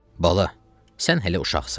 Bala, sən hələ uşaqsan.